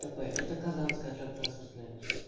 тп это казанская автотранспортная